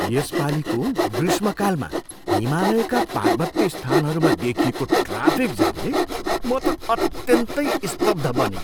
यसपालीको ग्रीष्मकालमा हिमालयका पार्वत्य स्थानहरूमा देखिएको ट्राफिक जामले म त अत्यन्तै स्तब्ध बनेँ।